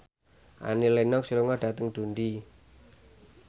Annie Lenox lunga dhateng Dundee